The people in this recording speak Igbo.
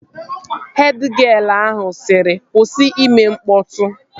Hed gịel ahụ sịrị, kwụsị ime mkpọtụ!